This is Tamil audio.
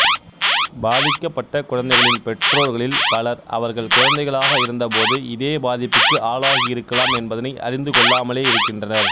பாதிக்கப்பட்ட குழந்தைகளின் பெற்றோர்களில் பலர் அவர்கள் குழந்தைகளாக இருந்த போது இதே பாதிப்புக்கு ஆளாகியிருக்கலாம் என்பதனை அறிந்துகொள்ளாமலே இருக்கின்றனர்